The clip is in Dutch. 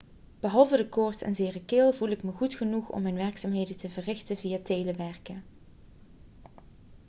behalve de koorts en zere keel voel ik me goed genoeg om mijn werkzaamheden te verrichten via telewerken